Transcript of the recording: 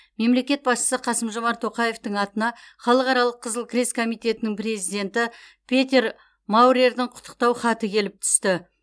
мемлекет басшысы қасым жомарт тоқаевтың атына халықаралық қызыл крест комитетінің президенті петер маурердің құттықтау хаты келіп түсті